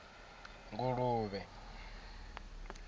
nguluvhe